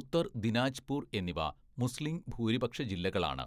ഉത്തർ ദിനാജ്പൂർ എന്നിവ മുസ്ലീം ഭൂരിപക്ഷ ജില്ലകളാണ്.